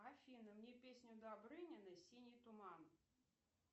афина мне песню добрынина синий туман